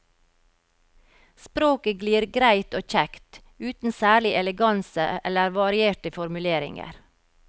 Språket glir greit og kjekt, uten særlig eleganse eller varierte formuleringer.